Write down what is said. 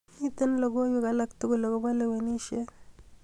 Miten logoiwek alaktugul akobo lewenishet